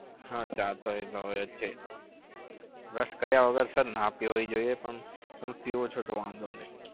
હા ચા તો ભાવે છે. brush કર્યા વગર ના પીવી જોઈએ પણ તમે પીવો છો તો વાંધો નહી.